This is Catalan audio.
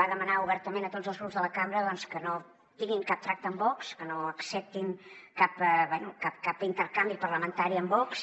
va demanar obertament a tots els grups de la cambra que no tinguin cap tracte amb vox que no acceptin cap intercanvi parlamentari amb vox